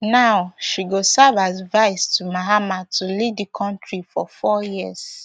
now she go serve as vice to mahama to lead di kontri for four years